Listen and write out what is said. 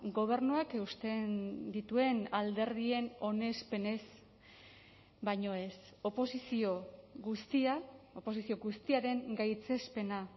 gobernuak eusten dituen alderdien onespenez baino ez oposizio guztia oposizio guztiaren gaitzespena